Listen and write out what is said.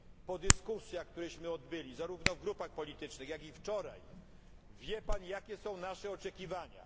Po dyskusjach, które odbyliśmy zarówno w grupach politycznych, jak i wczoraj wie Pan jakie są nasze oczekiwania.